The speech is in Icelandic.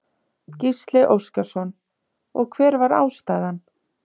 Gísli Óskarsson: Og hver var ástæðan?